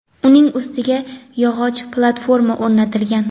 uning ustiga yog‘och platforma o‘rnatilgan.